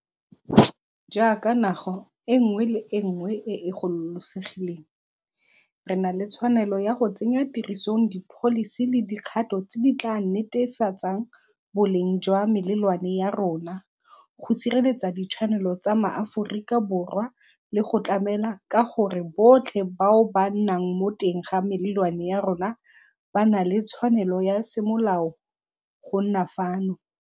Jaaka naga e nngwe le e nngwe e e gololosegileng, re na le tshwanelo ya go tsenya tirisong dipholisi le dikgato tse di tla netefatsang boleng jwa melelwane ya rona, go sireletsa ditshwanelo tsa Maaforikaborwa le go tlamela ka gore botlhe bao ba nnang mo teng ga melelwane ya rona ba na le tshwanelo ya semolao go nna fano.